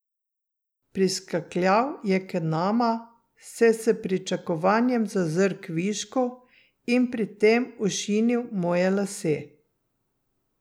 Priskakljal je k nama, se s pričakovanjem zazrl kvišku in pri tem ošinil moje lase.